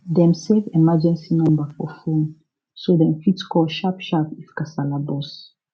dem save emergency number for phone so dem fit call sharpsharp if kasala burst